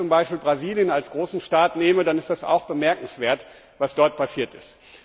Aber wenn ich zum Beispiel Brasilien als großen Staat nehme, dann ist es auch bemerkenswert, was dort passiert ist.